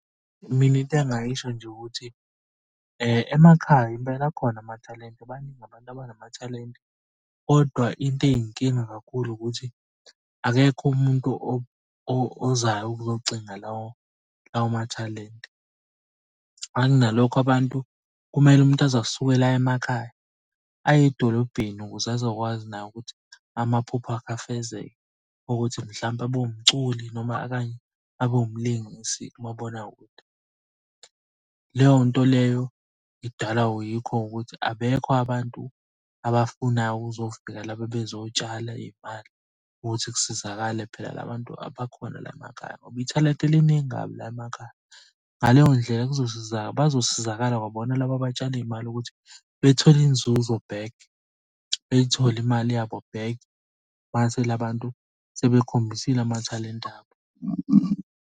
Mina into engingayisho nje ukuthi emakhaya impela akhona amathalente baningi abantu abanamathalente kodwa into eyinkinga kakhulu ukuthi akekho umuntu ozayo ukuzocinga lawo mathalente. Angithi nalokho abantu kumele umuntu aze asuke la emakhaya aye edolobheni ukuze azokwazi naye ukuthi amaphupho akhe afezeke ukuthi mhlampe abe wumculi noma okanye abe umlingisi kumabonakud. Leyo nto leyo idalwa yikho ukuthi abekho abantu abafunayo ukuzofika lapha bazotshala iy'mali ukuthi kusizakale phela la bantu abakhona la emakhaya ngoba ithalente liningu kabi la emakhaya. Ngaleyo ndlela bazosizakala, kwabona laba abatshalia iy'mali ukuthi bethole inzuzo back. Beyithole imali yabo back mase la bantu sebekhombisile amathalente abo.